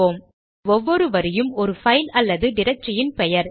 இப்போது ஒவ்வொரு வரியும் ஒரு பைல் அல்லது டிரக்டரி இன் பெயர்